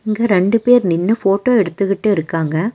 இங்க ரெண்டு பேர் நின்னு ஃபோட்டோ எடுத்துக்கிட்டு இருக்காங்க.